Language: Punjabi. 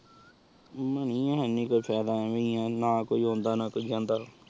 ਐਵੇ ਹੀ ਆਹ ਨਾ ਕੋਈ ਅੰਦਾ ਨਾ ਕੋਈ ਜਾਣਦਾ